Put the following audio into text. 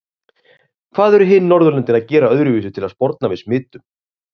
Hvað eru hin Norðurlöndin að gera öðruvísi til að sporna við smitum?